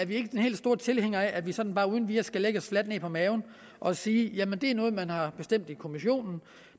vi ikke de helt store tilhængere af at vi sådan uden videre skal lægge os fladt ned på maven og sige at det er noget man har bestemt i kommissionen